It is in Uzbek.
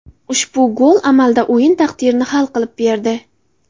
Ushbu gol amalda o‘yin taqdirini hal qilib berdi.